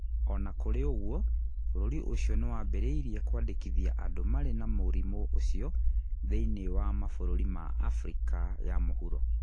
O na kũrĩ ũguo, bũrũri ũcio nĩ wambĩrĩirie kwandĩkithia andũ marĩ na mũrimũ ũcio thĩinĩ wa mabũrũri ma Afrika ya mũhuro.